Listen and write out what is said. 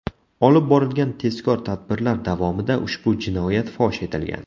Olib borilgan tezkor tadbirlar davomida ushbu jinoyat fosh etilgan.